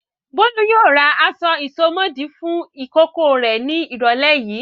Bólú yóò ra aṣọ ìsomọ́ọ̀dí fún ìkókó rẹ̀ ní ìrọ́lẹ́ yìí.